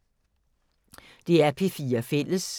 DR P4 Fælles